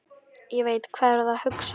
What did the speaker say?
Ég veit, hvað þið eruð að hugsa um núna.